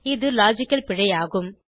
இது லாஜிக்கல் பிழை ஆகும்